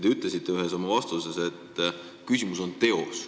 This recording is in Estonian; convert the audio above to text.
Te ütlesite ühes oma vastuses, et küsimus on teos.